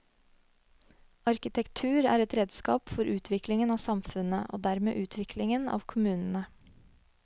Arkitektur er et redskap for utviklingen av samfunnet, og dermed utviklingen av kommunene.